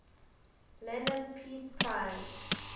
lenin peace prize